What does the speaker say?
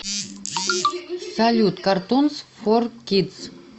салют картунс фор кидс